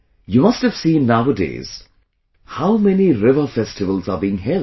You must have seen, nowadays, how many 'river festivals' are being held